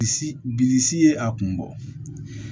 Bilisi bilisi ye a kun bɔ